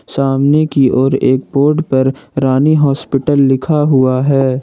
सामने की ओर एक बोर्ड पर रानी हॉस्पिटल लिखा हुआ है।